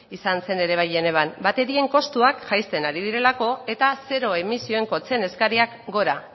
izan zen ere bai genevan baterien kostuak jaisten ari direlako eta zero emisioen kotxeen eskariak gora